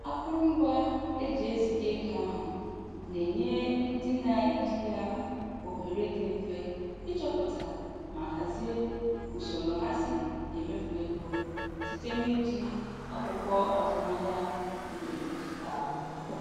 Akụrụngwa e ji eziga ego ahụ na-enye ndị na-eji ya ohere dị mfe ịchọpụta ma hazie usoro ha si emefu ego site n'iji akwụkwọ azụmahịa nke dijitalụ.